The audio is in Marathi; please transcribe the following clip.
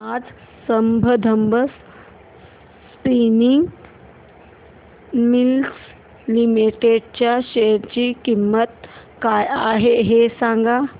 आज संबंधम स्पिनिंग मिल्स लिमिटेड च्या शेअर ची किंमत काय आहे हे सांगा